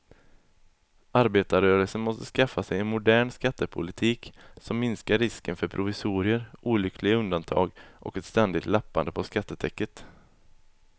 Arbetarrörelsen måste skaffa sig en modern skattepolitik som minskar risken för provisorier, olyckliga undantag och ett ständigt lappande på skattetäcket.